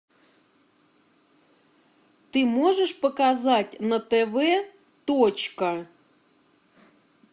ты можешь показать на тв точка